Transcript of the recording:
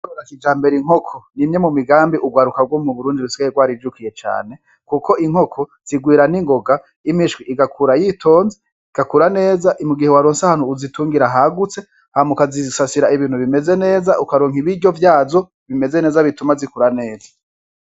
Rrakija mbere inkoko ni imye mu migambi urwar ukagwomu burundi rusyayerwarijukiye cane, kuko inkoko zigwira n'ingoga imishwi igakura yitonze igakura neza imu gihe waronsa hantu uzitungira hagutse hamukazizisasira ibintu bimeze neza ukaronka ibiryo vyazo bimeze neza bituma zikura neza.